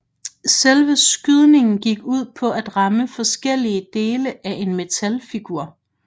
Selve skydningen gik ud på at ramme forskellige dele af en metalfigur